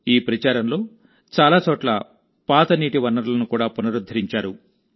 ఈ ప్రచారంలోచాలా చోట్లపాత నీటి వనరులను కూడా పునరుద్ధరించారు